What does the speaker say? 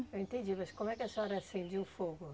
Eu entendi, mas como é que a senhora acendia o fogo?